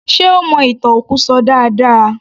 Ṣe ó mọ ìtàn òkú ṣọ dáadáa